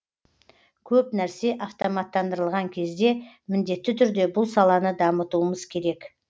көп нәрсе автоматтандырылған кезде міндетті түрде бұл саланы дамытуымыз керек